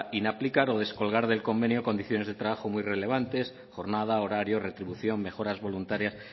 inaplicar o descolgar del convenio condiciones de trabajo muy relevantes jornada horario retribución mejoras voluntarias